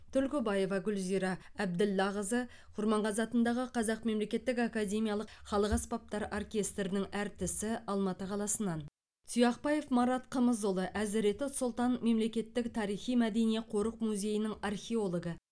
түлкібаева гүлзира әбділлақызы құрманғазы атындағы қазақ мемлекеттік академиялық халық аспаптар оркестрінің әртісі алматы қаласынан тұяқбаев марат қымызұлы әзіреті сұлтан мемлекеттік тарихи мәдени қорық музейінің археологы